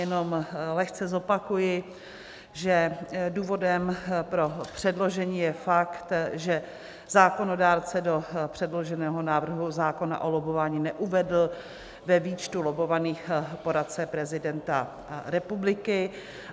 Jenom lehce zopakuji, že důvodem pro předložení je fakt, že zákonodárce do předloženého návrhu zákona o lobbování neuvedl ve výčtu lobbovaných poradce prezidenta republiky.